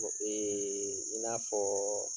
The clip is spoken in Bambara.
i n'a fɔ